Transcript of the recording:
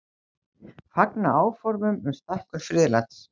Fagna áformum um stækkun friðlands